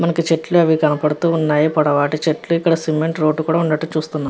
మనకి చెట్లు అవి కనబడుతూ ఉన్నాయి పొడవాటి చెట్లు ఇక్కడ సిమెంట్ రోడ్డు కూడా ఉండటమో చూస్తున్నా--